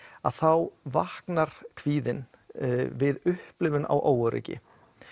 að þá vaknar kvíðinn við upplifun á óöryggi